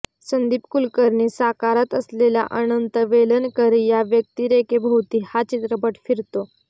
संदीप कुलकर्णी साकारत असलेल्या अनंत वेलणकर या व्यक्तिरेखेभोवती हा चित्रपट फिरतो